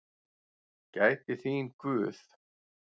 Gæti þín Guð.